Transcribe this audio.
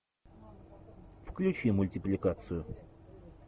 включи мультипликацию